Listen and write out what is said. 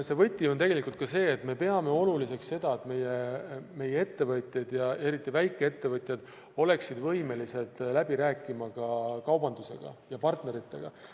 Võti on tegelikult ka see, et me peame oluliseks, et meie ettevõtjad ja eriti väikeettevõtjad oleksid võimelised läbi rääkima ka kaubandusega ja partneritega.